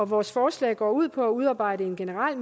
vores forslag går ud på at udarbejde en generel